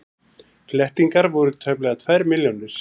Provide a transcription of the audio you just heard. Flettingar voru tæplega tvær milljónir.